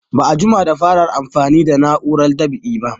Ba a jima da fara amfani da na'urar dab'i ba